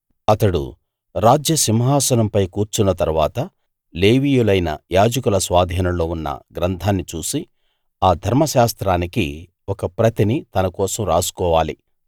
అతడు రాజ్యసింహాసనంపై కూర్చున్న తరువాత లేవీయులైన యాజకుల స్వాధీనంలో ఉన్న గ్రంథాన్ని చూసి ఆ ధర్మశాస్త్రానికి ఒక ప్రతిని తనకోసం రాసుకోవాలి